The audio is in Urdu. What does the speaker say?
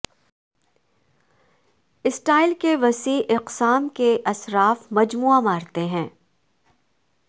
سٹائل کی وسیع اقسام کے اسراف مجموعہ مارتے ہے